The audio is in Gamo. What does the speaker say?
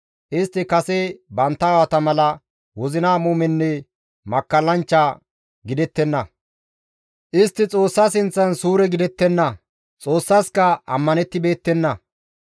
Istti kase bantta aawata mala wozina muumenne makkallanchcha gidettenna; istti Xoossa sinththan suure gidettenna; Xoossaska ammanettibeettenna.